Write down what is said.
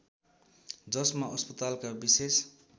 जसमा अस्पतालका विशेष